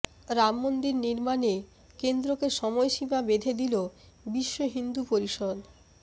রাম মন্দির নির্মাণে কেন্দ্রকে সময়সীমা বেঁধে দিল বিশ্ব হিন্দু পরিষদ